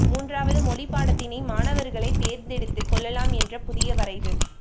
மூன்றாவது மொழி பாடத்தினை மாணவர்களே தேர்ந்தெடுத்து கொள்ளலாம் என்ற புதிய வரைவு